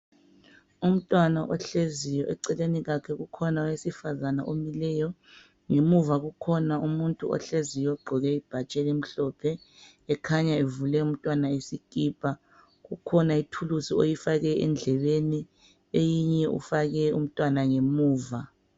Umntwana ohleziyo eceleni kwakhe kukhona owesifazana omileyo ngemuva kukhona umuntu ohleziyo ogqoke ibhatshi elimhlophe ekhanya evule umntwana isikipa. Kukhona ithuluzi oyifake endlebeni, eyinye ufake umntwana ngemuva .